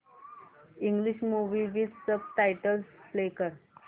English movie with subtitles play कर